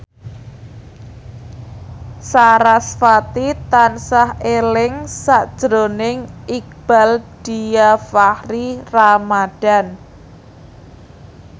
sarasvati tansah eling sakjroning Iqbaal Dhiafakhri Ramadhan